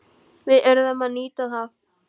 Við urðum að nýta það.